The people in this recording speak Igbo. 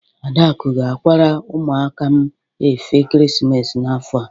Adaku ga-akwara ụmụaka m efe ekeresimesi n'afọ a.